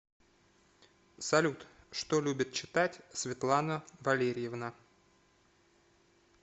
салют что любит читать светлана валерьевна